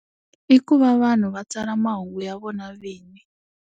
I ku va vanhu va tsala mahungu ya vona vinyi.